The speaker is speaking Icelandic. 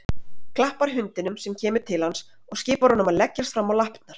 Klappar hundinum sem kemur til hans og skipar honum að leggjast fram á lappirnar.